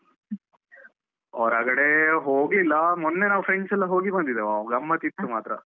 ಹೊರಗಡೇ ಹೋಗ್ಲಿಲ್ಲ, ಮೊನ್ನೆ ನಾವು friends ಎಲ್ಲ ಹೋಗಿ ಬಂದಿದ್ದೇವಾ, ಗಮ್ಮತ್ ಇತ್ತು ಮಾತ್ರ.